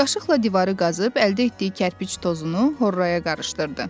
Qaşıqla divarı qazıb əldə etdiyi kərpic tozunu horraya qarışdırdı.